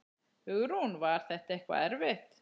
Hugrún: Var þetta eitthvað erfitt?